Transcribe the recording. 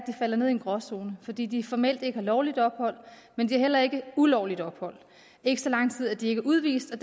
falder ned i en gråzone fordi de formelt ikke har lovligt ophold men de har heller ikke ulovligt ophold ikke så lang tid at de ikke er udvist og